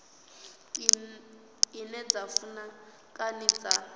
ine dza funa kana dza